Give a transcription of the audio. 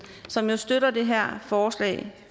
som jo støtter det her forslag